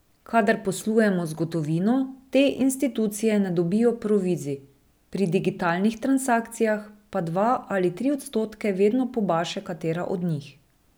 Kadar poslujemo z gotovino, te institucije ne dobijo provizij, pri digitalnih transakcijah pa dva ali tri odstotke vedno pobaše katera od njih.